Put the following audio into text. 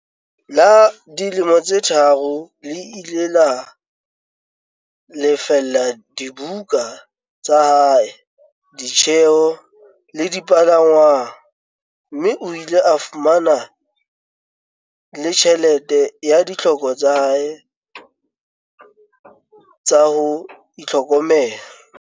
la dilemo tse tharo le ile la lefella dibuka tsa hae, ditjeo le dipalangwang, mme o ile a fumana le tjhelete ya ditlhoko tsa hae tsa ho itlhokomela.